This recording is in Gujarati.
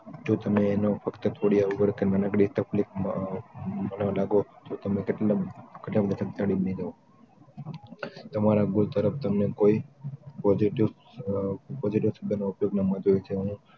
જો તમે તો એનો ફક્ત થોડી અવગણ કે નાની એવી તકલીફમાં ભાગ લેવા લાગે તો તમે કેટલાક સંતાડીને લઈ જાવ તમારા ભૂલ તરફ તમને કોઈ positive શબ્દોનો મહત્વ હોય છે હું